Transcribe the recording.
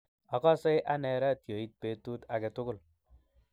akose anee ratioit betut age tugul.